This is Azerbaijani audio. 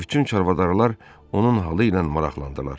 Bütün çarvadarlar onun halı ilə maraqlandılar.